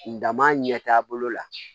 N dama ɲɛtaa bolo la